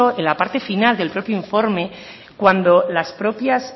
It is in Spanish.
en la parte final del propio informe cuando las propias